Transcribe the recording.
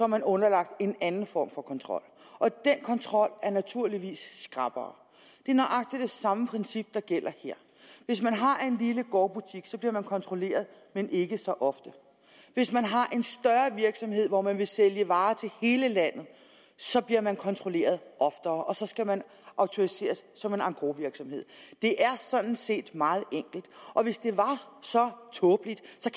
man underlagt en anden form for kontrol og den kontrol er naturligvis skrappere det er nøjagtig det samme princip der gælder her hvis man har en lille gårdbutik bliver man kontrolleret men ikke så ofte hvis man har en større virksomhed hvor man vil sælge varer til hele landet bliver man kontrolleret oftere og så skal man autoriseres som engrosvirksomhed det er sådan set meget enkelt og hvis det er så tåbeligt